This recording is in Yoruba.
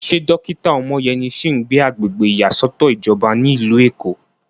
Ṣé dókítà Omoyeni sì ń gbé agbègbè ìyàsọ́tọ̀ ìjọba ní ìlú Èkó?